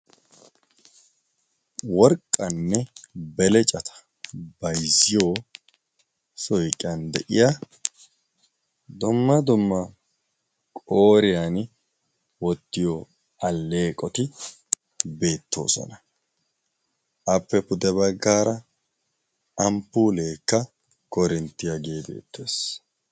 worqqanne belecata bayzziyo soiqqiyan deyiya domma domma qooriyan wottiyo alleeqoti beettoosona. appe pude baggaara amppuleekka korinttiyaa gee beettees